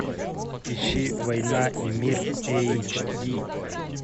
ищи война и мир эйч ди